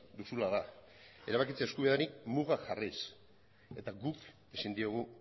duzula da erabakitze eskubideari mugak jarriz eta guk ezin diogu